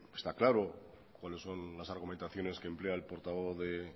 está claro cuáles son las argumentaciones que emplea el portavoz de